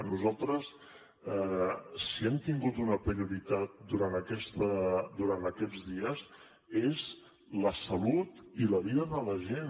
nosaltres si hem tingut una prioritat durant aquests dies és la salut i la vida de la gent